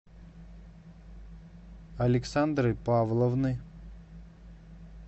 александры павловны